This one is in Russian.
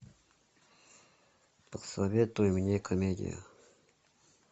посоветуй мне комедию